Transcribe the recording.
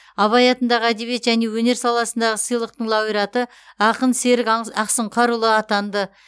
абай атындағы әдебиет және өнер саласындағы сыйлықтың лауреаты ақын серік ақсұңқарұлы атанды